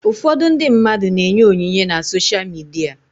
Ụfọdụ ndị mmadụ na-enye onyinye na sosha midia.